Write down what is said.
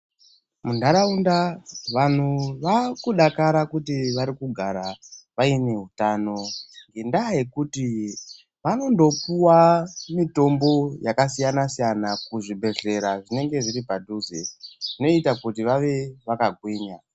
Munharaunda vantu vakudakara kuti vakugara vaine hutano. Ngendaa yekuti vanomdopuwa mitombo yakasiyana-siyana kuzvibhedhlera zvinenge zviri padhuze zvinoita kuti vave vakagwinya.